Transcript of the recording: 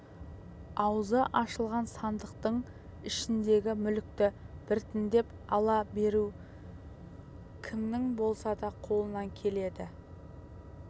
аузы ашылған сандықтың ішіндегі мүлікті біртіндеп ала беру кімнің болса да қолынан келеді